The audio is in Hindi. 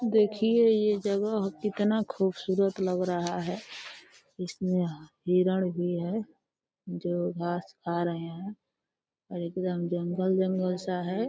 देखिये ये जगह कितना खूबसूरत लग रहा है। इसमें ह हिरण भी हैं जो घास खा रहे हैं और एकदम जंगल-जंगल सा है।